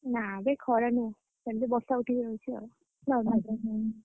ନା ବେ ଖରା ନୁହଁ ସେମିତି ବର୍ଷା ଉଠିକି ରହୁଛି ଆଉ।